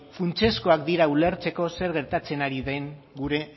funtsezkoak dira ulertzeko zer gertatzen den gure